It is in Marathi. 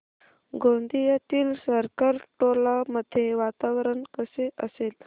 गोंदियातील सरकारटोला मध्ये वातावरण कसे असेल